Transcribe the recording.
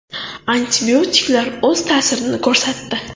Antibiotiklar o‘z ta’sirini ko‘rsatdi.